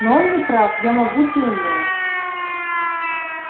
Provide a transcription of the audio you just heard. но он не прав я могуч и умён